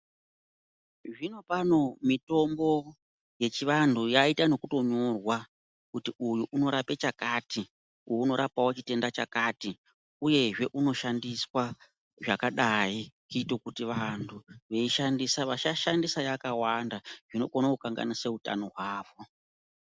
Zvino pano mitombo yechivantu inoita yekunyorwa kuti wakati uyu unorapawo chitenda chakati uyezve unoshandiswa zvakadai kuita kuti vantu veishandisa vasashandisa yakawanda inokona kushandisa utano hwako.